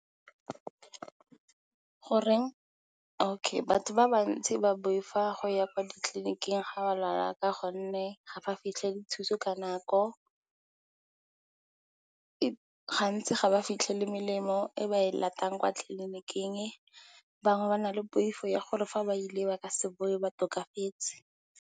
Batho ba bantsi ba boifa go ya kwa ditliliniking ga ba lwala ka gonne, ga ba fitlhelele thuso ka nako, gantsi ga ba fitlhelele melemo e ba e latelang kwa tlliniking. Bangwe ba na le poifo ya gore fa ba ile ba ka se bowe ba tokafetse.